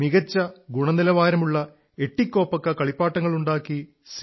മികച്ച ഗുണനിലവാരുമുള്ള എതികോപ്പക്ക കളിപ്പാട്ടങ്ങളുണ്ടാക്കി സി